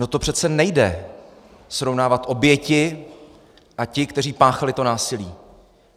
No, to přece nejde srovnávat oběti a ty, kteří páchali to násilí.